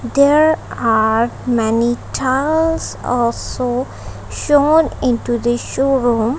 there are many tiles also shown into the show room.